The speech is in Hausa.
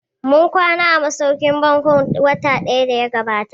Mun kwana a masauƙin baƙin Bon watan da ya gabata